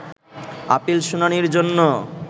appeal শুনানির জন্য